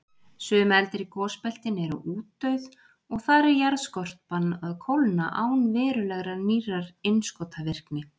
Sum eldri gosbeltin eru útdauð, og þar er jarðskorpan að kólna án verulegrar nýrrar innskotavirkni.